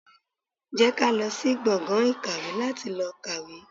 Jẹ́ ká lọ sí gbọ̀ngàn ìkàwé láti lọ kàwé.